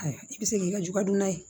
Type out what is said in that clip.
Ayiwa i bɛ se k'i ka jugadunan ye